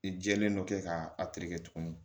I jɛlen dɔ kɛ k'a tereke tuguni